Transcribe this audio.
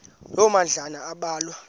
loo madlalana ambalwa